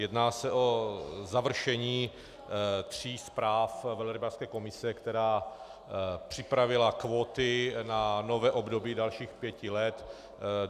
Jedná se o završení tří zpráv velrybářské komise, která připravila kvóty na nové období dalších pěti let.